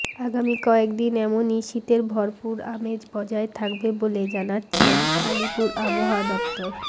আগামী কয়েকদিন এমনই শীতের ভরপুর আমেজ বজায় থাকবে বলে জানাচ্ছে আলিপুর আবহাওয়া দফতর